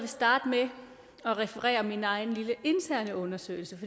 starte med at referere til min egen lille interne undersøgelse